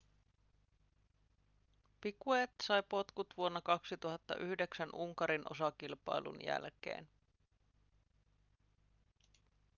piquet sai potkut vuonna 2009 unkarin osakilpailun jälkeen